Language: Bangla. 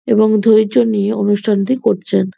এবং ধৈর্য নিয়ে অনুষ্ঠানটি করছেন।